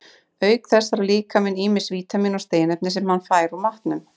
Auk þess þarf líkaminn ýmis vítamín og steinefni, sem hann fær úr matnum.